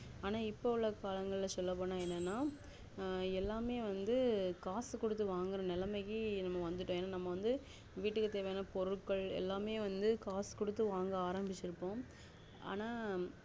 ஆனா இப்போ உள்ள காலங்கள சொள்ளபோன்ன என்னனா அஹ் எல்லாமே வந்து காசு குடுத்து வாங்குற நெலமைக்கு நம்ம வந்துட்டோம் ஏன்னா நம்ம வீட்டுக்கு தேவையான பொருட்கள் எல்லாமே வந்து காசு கொடுத்து வாங்க ஆரம்பிச்சிட்டோம் ஆனா